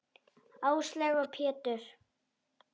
Áslaug og Pétur.